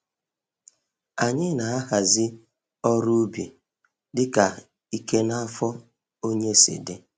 Anyị na-ahazi ọrụ ubi dịka ike na afọ onye si dị.